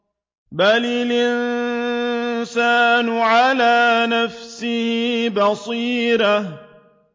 بَلِ الْإِنسَانُ عَلَىٰ نَفْسِهِ بَصِيرَةٌ